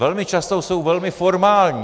Velmi často jsou velmi formální.